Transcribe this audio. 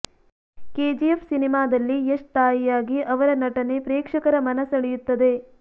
KGF ಸಿನಿಮಾದಲ್ಲಿ ಯಶ್ ತಾಯಿಯಾಗಿ ಅವರ ನಟನೆ ಪ್ರೇಕ್ಷಕರ ಮನ ಸೆಳೆಯುತ್ತದೆ